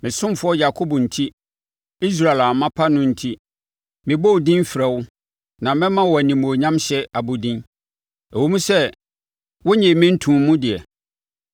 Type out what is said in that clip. Me ɔsomfoɔ Yakob enti, Israel a mapa no enti, mebɔ wo din frɛ wo na mɛma wo animuonyamhyɛ abodin, ɛwom sɛ wonnyee me ntoo mu deɛ.